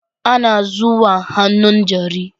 Ana zuwa hannun jari